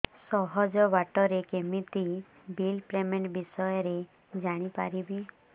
ସହଜ ବାଟ ରେ କେମିତି ବିଲ୍ ପେମେଣ୍ଟ ବିଷୟ ରେ ଜାଣି ପାରିବି